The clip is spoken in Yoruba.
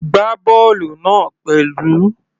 Gbá bọ́ọ̀lù náà pẹ̀lú.